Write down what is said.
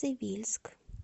цивильск